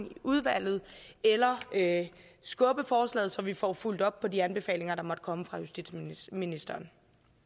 i udvalget eller skubbe forslaget så vi får fulgt op på de anbefalinger der måtte komme fra justitsministeren